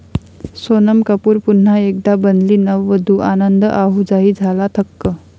सोनम कपूर पुन्हा एकदा बनली नववधू, आनंद आहुजाही झाला थक्क!